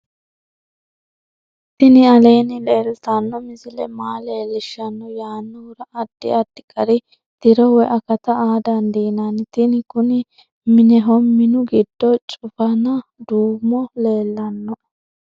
tini aleenni leeltanno misile maa leellishshanno yaannohura addi addi gari tiro woy akata aa dandiinanni tini kuni mineho minu giddo cufanu duumu leellannoe